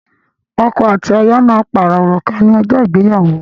Ọkọ àti aya má parọ Òrùka ní ojó ìgbéyàwó